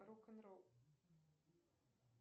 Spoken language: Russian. рок н ролл